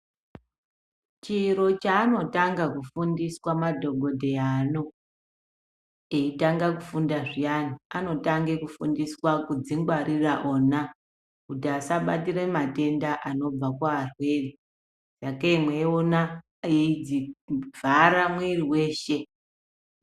Chiro chaanotanga kufundiswa madhokodheya ano eitanga kufunda zvyani, anotanga kufundiswa kudzingwaririra ona, kuti asabatira matenda anobva kuarwere. Sakei mweiona echivhare mwiri weshe.